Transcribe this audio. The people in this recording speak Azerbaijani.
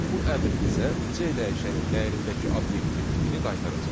Bu əmr bizə C dəyişənin dəyərindəki obyektin tipini qaytaracaq.